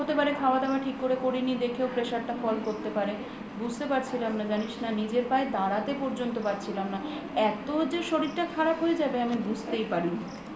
হতে পারে খাওয়া দাওয়া ঠিক করে করিনি দেখেই pressure টা fall করতে পারে বুঝতে পারছিলাম না জানিস না নিজের পায়ে দাড়াতে পর্যন্ত পারছিলাম না এত যে শরীরটা খারাপ হয়ে যাবে আমি বুঝতেই পারিনি